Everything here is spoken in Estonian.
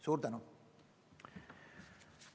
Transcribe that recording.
Suur tänu!